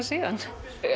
síðan